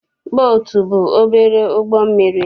Bootu bụ obere ụgbọ mmiri.